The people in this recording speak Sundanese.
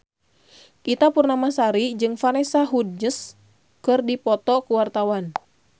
Ita Purnamasari jeung Vanessa Hudgens keur dipoto ku wartawan